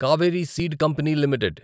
Kaveri seed company limited